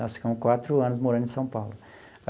Nós ficamos quatro anos morando em São Paulo.